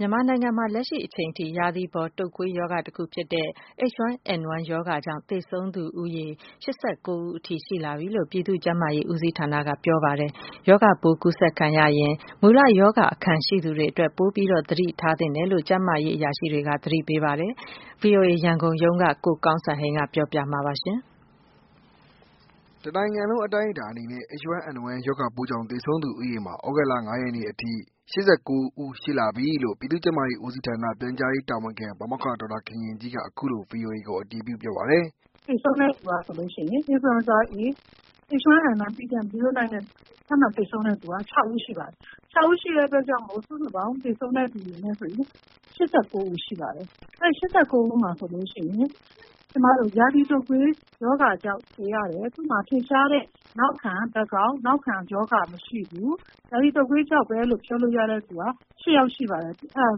ြန်မာနိုင်ငံမှာ လက်ရှိအချိန်ထိ ရာသီပေါ် တုတ်ကွေးရောဂါတစ်ခုဖြစ်တဲ့ H1N1 ရောဂါကြောင့် သေဆုံးသူ ဦးရေ ၈၉ဦးထိရှိလာပီလို့ ပြည်သူ့ကျန်းမာရေး ဦးစီးဌာနက ပြောပါတယ်။ရာဂါပိုးကူးစက်ခံရရင် မူလရောဂါအခံရှိသူတွေအတွက် ပိုပြီး သတိထားသင့်တယ်လို့ ကျန်းမာရေးအရာရှိတွေက သတိပေးပါတယ်။ ဗွီအိုအေ ရန်ကုန်ရုံးက ကိုကောင်းစံဟိန်းက ပြောပြပေးမှာပါ။ တစ်နိုင်ငံလုံး အတိုင်းအတာအနေနဲ့ H1N1 ရောဂါပိုးကြောင့် သေဆုံးသူ ဦးရေမှာ သြဂုတ်လ၅ရက်နေ့အထိ၈၉ ဦး ရှိလာပီလို့ ပြည်သူ့ ကျန်းမာရေးဦးစီးဌာန တာဝန်ရှိသူ ဒေါက်တာခင်ခင်ကြီးက အခုလို ဗွီအိုအေကို အတည်ပြု ပြောပါတယ်။ “သေဆုံးသူက H1N1 influenza A pdm09 နဲ့ ထပ်မံသေဆုံးသူက ၆ ဦးရှိပါပြီ ။ အဲဒီအတွက်ကြောင့် စုစုပေါင်း သေဆုံးသူက ၈၉ ဦး ရှိပါတယ်။ အဲဒီ ၈၉ ဦးမှာဆိုရင် ရာသီတုပ်ကွေးရောဂါကြောင့် သေရတယ် ။ သူ့မှာ ထင်ရှားတဲ့ နောက်ခံရောဂါမရှိဘူး။ ရာသီတုပ်ကွေးရောဂါကြောင့်ပဲလို့ ပြောလို့ရသူက ၈ ယောက်ရှိတယ် ဆိုတော့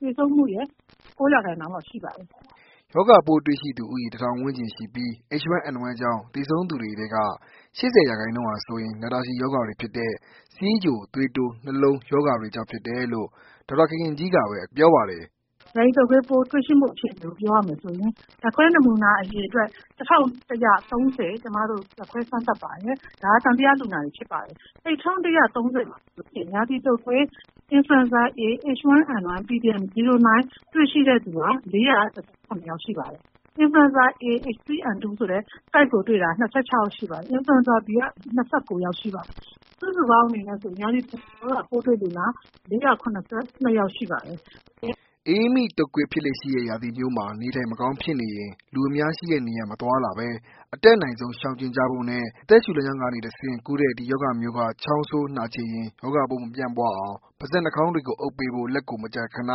သေဆုံးမှုရဲ့ ၉ ရာခိုင်နှုန်းလောက်တော့ရှိပါတယ်။” ရာသီတုတ်ကွေး ရောဂါပိုးသံသယလူနာ ၁၀၀၀ ကျော်မှာ လူဦးရေ ၄၀၀ ေျကာ် ရောဂါပိုးတွေ့ရှိပြီးတော့ အဲဒီထဲက H1N1 ကြောင့် သေဆုံးသူ ၈၉ ဦးရှိသွားပြီဖြစ်ပါတယ်။ သေဆုံးသူတွေထဲက ၈၀ရာခိုင်နှုန်းဟာဆိုရင် နာတာရှည် ရောဂါတွေဖြစ်တဲ့ ဆီးချို ၊သွေးတိုး ၊နှလုံးရောဂါတွေကြောင့် ဖြစ်တယ်လို့ ဒေါက်တာခင်ခင်ကြီးက ပြောပါတယ်။ “ရာသီပေါ်တုပ်ကွေးပိုး တွေ့ရှိမှု အခြေအနေကို ပြောရမယ်ဆိုရင် ဓာတ်ခွဲနမူနာ အရေအတွက် ၁၁၃၀ ဓာတ်ခွဲစမ်းသပ်ပါတယ်။ဒါက သံသရလူနာတွေ ဖြစ်ပါတယ်။အဲ့ဒီ ၁၁၃၀မှာဆိုရင် ရာသီတုပ်ကွေး Influenza A H1N1 ပိုးတွေ့ရှိသူဟာ ၄၁၇ ယောက် ရှိပါတယ်။ Influenza A H3N2 ဆိုတာကို တွေ့ရှိသူက ၂၆ ယောက် ရှိပါတယ်။ Influenza Bက ၂၉ ယောက် ရှိပါတယ်။စုစုပေါင်း အနေနဲ့ဆို ရာသီပေါ်တုပ်ကွေး ရောဂါပိုးတွေ့ရှိသူလူနာ ၄၇၂ ယောက်ရှိပါတယ်။” အအေးမိတုပ်ကွေး ဖြစ်လေ့ရှိတဲ့ ရာသီမျိုးမှာ နေထိုင်မကောင်းဖြစ်နေရင် လူအများရှိတဲ့နေရာ မသွားလာဘဲ အတတ်နိုင်ဆုံး ရှောင်ကြဉ်ကြဖို့နဲ့ အသက်ရှူလမ်းကြောင်းကနေ တဆင့် ကူးတဲ့ ဒီရောဂါမျိုးက ချောင်းဆိုး၊ နှာချေရင် ရောဂါပိုးမပြန့်ပွားအောင် ပါးစပ် နှာခေါင်းတွေကို အုပ်ပေးဖို့ လက်ကိုမကြာခဏ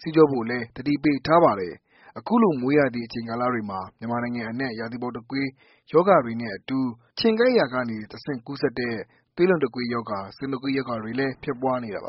ဆေးကြောဖို့လည်း သတိပေးထားပါတယ်။ အခုလို မိုးရာသီအချိန်ကာလတွေမှာ မြန်မာနိုင်ငံအနှံ့ ရာသီပေါ်တုပ်ကွေး ရောဂါတွေနဲ့အတူ ခြင်ကိုက် ခံရာကနေ တစ်ဆင့် ကူးစက်တဲ့ သွေးလွန်တုတ်ကွေးရောဂါ၊ဆင်တုတ်ကွေး ရောဂါတွေ ဖြစ်ပွားနေတာပါ။